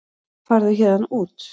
Farðu héðan út.